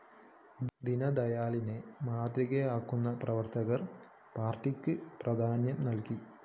ദീനദയാലിനെ മാതൃകയാക്കുന്ന പ്രവര്‍ത്തകര്‍ പാര്‍ട്ടിക്ക് പ്രധാന്യം നല്‍കി